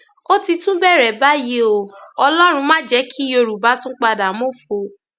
ó ti tún bẹrẹ báyìí o ọlọrun má jẹ kí yorùbá tún padà mọfọ